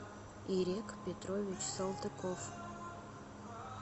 ирек петрович салтыков